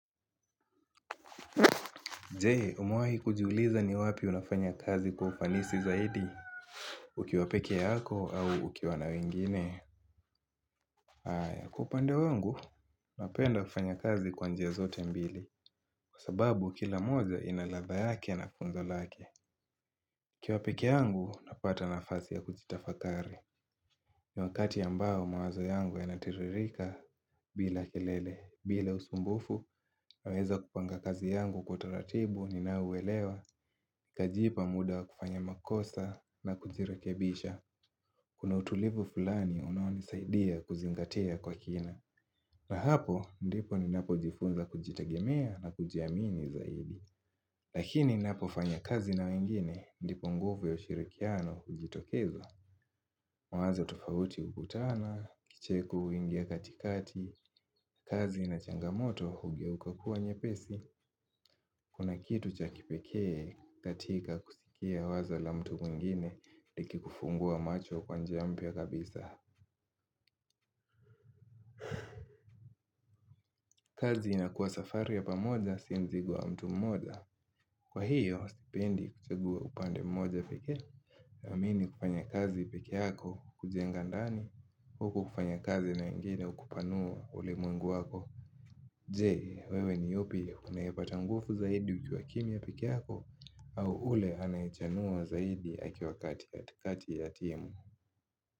Jee umewai kujiuliza ni wapi unafanya kazi kwa ufanisi zaidi Ukiwapeke yako au ukiwa na wengine Aya kupande wangu Napenda kufanya kazi kwa njia zote mbili Kwa sababu kila moja inaladha yake na funzo lake nikiwa pekee yangu napata nafasi ya kuchitafakari na wakati ambao mawazo yangu yanatiririka bila kelele bila usumbufu naweza kupanga kazi yangu kwa taratibu ninaowelewa Kajipa muda kufanya makosa na kujirekebisha Kuna utulivu fulani unao nisaidia kuzingatia kwa kina na hapo ndipo ni napo jifunza kujitagemea na kujiamini zaidi Lakini napo fanya kazi na wengine ndipo nguvu ya ushirikiano ujitokeza mawazo tofauti ukutana, kicheko uingia katikati kazi na changamoto hugeuka kuwa nyepesi Kuna kitu cha kipeke katika kusikia waza la mtu mwingine Liki kufungua macho kwa njia mpya kabisa kazi inakuwa safari ya pamoja si mzigo wa mtu mmoja Kwa hiyo, sipendi kuchagua upande mmoja pekee amini kufanya kazi peke yako kujenga ndani kuku kufanya kazi na ingine ukupanua ule mungu wako Jee, wewe ni yupi hunaye pata nguvu zaidi ukiwa kimia peke yako au ule anaichanua zaidi akiwa kati ya timu.